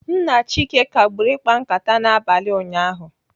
Nna Chike kagburu ịkpa nkata n'abalị ụnyaahụ.